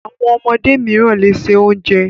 Àwọn ọmọdé mìíràn le se oúnjẹ.